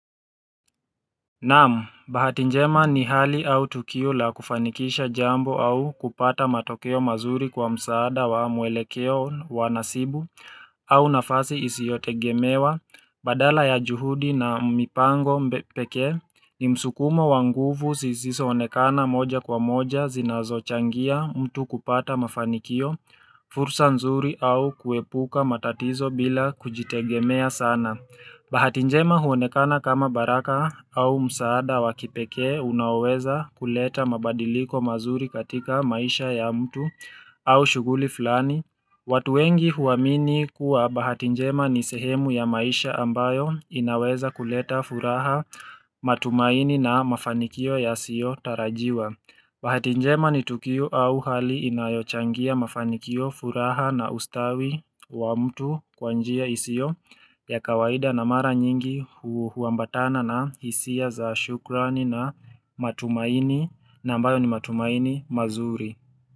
Naam, bahati njema ni hali au tukio la kufanikisha jambo au kupata matokeo mazuri kwa msaada wa mwelekeo wa nasibu au nafasi isiotegemewa badala ya juhudi na mipango mbe pekee ni msukumo wa nguvu zisizo onekana moja kwa moja zinazochangia mtu kupata mafanikio fursa nzuri au kuepuka matatizo bila kujitegemea sana bahati njema huonekana kama baraka au msaada wa kipekee unaoweza kuleta mabadiliko mazuri katika maisha ya mtu au shughuli fulani. Watu wengi huamini kuwa bahati njema ni sehemu ya maisha ambayo inaweza kuleta furaha matumaini na mafanikio yasiyotarajiwa. Bahati njema ni Tukio au hali inayochangia mafanikio, furaha na ustawi wa mtu kwa njia isiyo ya kawaida na mara nyingi huambatana na hisia za shukrani na matumaini na ambayo ni matumaini mazuri.